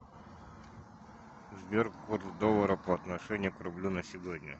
сбер курс доллара по отношению к рублю на сегодня